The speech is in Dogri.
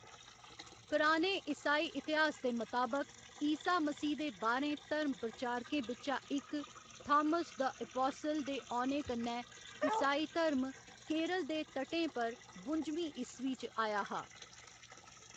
पराने ईसाई इतिहास दे मताबक, ईसा मसीह दे बाह्‌रें धर्म प्रचारकें बिच्चा इक थामस द एपासिल दे औने कन्नै ईसाई धर्म केरल दे तटें पर बुंजमीं ईस्वी च आया हा।